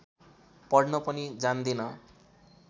पढ्न पनि जान्दिन